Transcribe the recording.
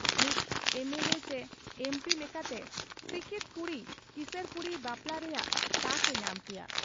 ᱢᱤᱫ ᱮᱢᱮᱞᱮ ᱪᱤ ᱢᱤᱫ ᱮᱢᱯᱤ ᱞᱮᱠᱟᱛᱮ ᱥᱤᱠᱤᱛ ᱠᱩᱲᱤᱹ ᱠᱤᱥᱟᱹᱬ ᱠᱩᱲᱤ ᱵᱟᱯᱞᱟᱜ ᱨᱮᱭᱟᱜ ᱛᱟᱠ ᱮ ᱧᱟᱢ ᱠᱮᱭᱟ ᱾